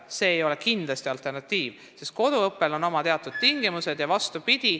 See ei ole mingi alternatiiv, sest koduõppel on oma tingimused.